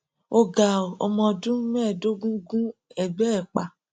ó ga ọ ọmọ ọdún mẹẹẹdógún gun ẹgbẹ ẹ pa